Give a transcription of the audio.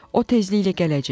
O tezliklə gələcək.